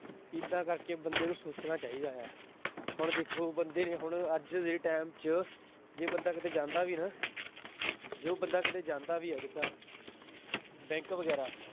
ਏਦਾਂ ਕਰਕੇ ਬੰਦੇ ਨੂੰ ਸੋਚਣਾ ਚਾਹੀਦਾ ਹੈ। ਹੁਣ ਦੇਖੋ ਬੰਦੇ ਨੇ ਹੁਣ ਅੱਜ ਦੇ time ਚ ਜੇ ਬੰਦਾ ਕਿਤੇ ਜਾਂਦਾ ਵੀ ਨਾ, ਜੋ ਬੰਦਾ ਕਿਤੇ ਜਾਂਦਾ ਵੀ ਆ ਬੈਂਕ ਵਗੈਰਾ,